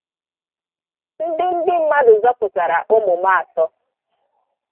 ndị ndị mmadụ zọpụtara ụmụ m atọ.